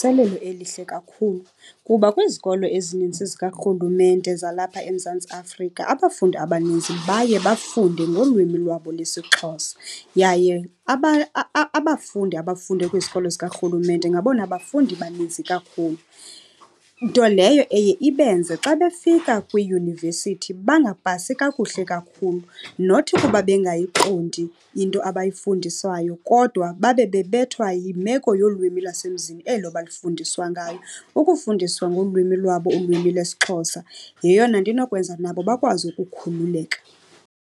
elihle kakhulu, kuba kwizikolo ezininzi zikarhulumente zalapha eMzantsi Afrika abafundi abanintsi baye bafunde ngolwimi lwabo lwesiXhosa. Yaye abafundi abafunde kwizikolo zikarhulumente ngabona bafundi baninzi kakhulu, nto leyo eye ibenze xa befika kwiiyunivesithi bangapasi kakuhle kakhulu. Not kuba bengayiqondi into abayifundiswayo, kodwa babe bebethwa yimeko yolwimi lwasemzini elo balifundiswa ngalo. Ukufundiswa ngolwimi lwabo, ulwimi lesiXhosa, yeyona nto inokwenza nabo bakwazi ukukhululeka.